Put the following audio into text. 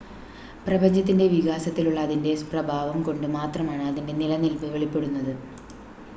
പ്രപഞ്ചത്തിൻ്റെ വികാസത്തിലുള്ള അതിൻ്റെ പ്രഭാവം കൊണ്ട് മാത്രമാണ് അതിൻ്റെ നിലനിൽപ്പ് വെളിപ്പെടുന്നത്